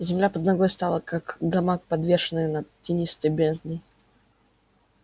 земля под ногой стала как гамак подвешенный над тинистой бездной